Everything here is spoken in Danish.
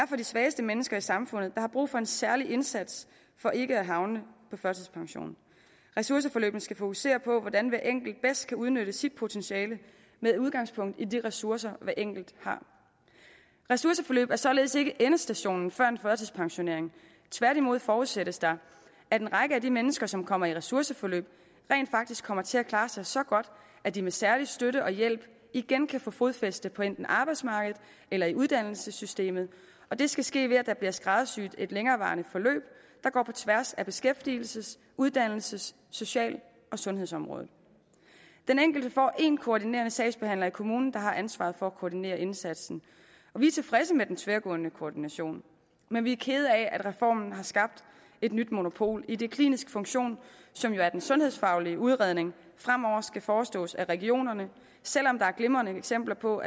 for de svageste mennesker i samfundet der har brug for en særlig indsats for ikke at havne på førtidspension ressourceforløbene skal fokusere på hvordan hver enkelt bedst kan udnytte sit potentiale med udgangspunkt i de ressourcer hver enkelt har ressourceforløb er således ikke endestationen før en førtidspensionering tværtimod forudsættes der at en række af de mennesker som kommer i ressourceforløb rent faktisk kommer til at klare sig så godt at de med særlig støtte og hjælp igen kan få fodfæste på enten arbejdsmarkedet eller i uddannelsessystemet og det skal ske ved at der bliver skræddersyet et længerevarende forløb der går på tværs af beskæftigelses uddannelses social og sundhedsområderne den enkelte får én koordinerende sagsbehandler i kommunen der har ansvaret for at koordinere indsatsen vi er tilfredse med den tværgående koordination men vi er kede af at reformen har skabt et nyt monopol idet den kliniske funktion som jo er den sundhedsfaglige udredning fremover skal forestås af regionerne selv om der er glimrende eksempler på